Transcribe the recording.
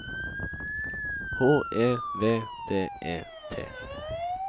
H E V D E T